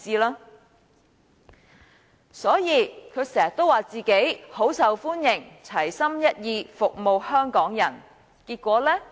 他經常說自己很受歡迎，齊心一意，服務香港人，結果如何呢？